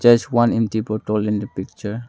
There is one empty bottle the picture.